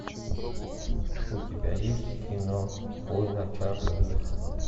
у тебя есть кино война чарли уилсона